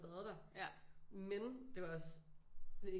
Været der men det var også